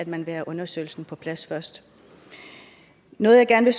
man vil have undersøgelsen på plads først noget jeg gerne